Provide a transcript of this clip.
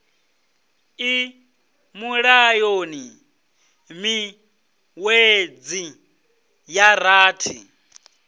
i mulayoni miṅwedzi ya rathi